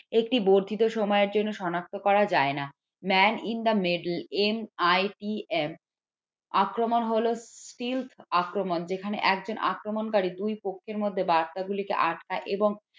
একটি বর্ধিত সময়ের জন্য শনাক্ত করা যায় না man in the middleMITM আক্রমণ হলো আক্রমণ যেখানে একজন আক্রমণকারী দুই পক্ষের মধ্যে বার্তাগুলিকে আটকায় এবং একটি বর্ধিত সময়ের জন্য সনাক্ত করা যায় না।